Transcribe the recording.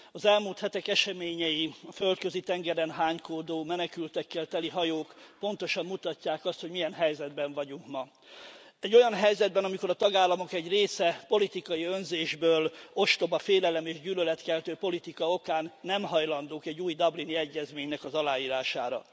Az elmúlt hetek eseményei, a Földközi tengeren hánykódó menekültekkel teli hajók pontosan mutatják azt, hogy milyen helyzetben vagyunk ma. Egy olyan helyzetben, amikor a tagállamok egy része politikai önzésből, ostoba félelem és gyűlöletkeltő politika okán nem hajlandók egy új dublini egyezménynek az aláírására.